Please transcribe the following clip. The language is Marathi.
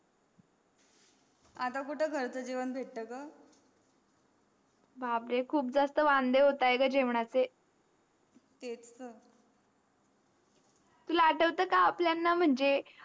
आता कुट घरच जेवण भेट ग बापरे खुपदाच तर वंदे होत आहे ग जेवणाचे ते तर तुला आठवत का आपल्यांना मंझे.